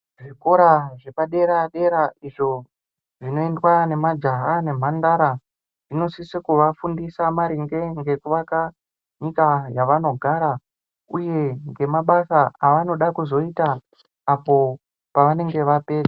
Zvikora zvepadera-dera izvo zvinoendwa nemajaya nemhandara zvinosisa kuvafundisa maringe ngekuvaka nyika yavanogara. Uye ngemabasa avanoda kuzoita apo pavanenge vape...